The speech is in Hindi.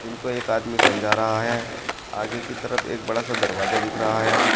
उनको एक आदमी समझा रहा है आगे की तरफ एक बड़ा सा दरवाजा दिख रहा है।